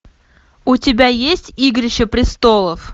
у тебя есть игрища престолов